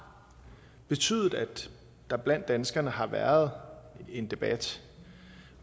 betydet at der blandt danskerne har været en debat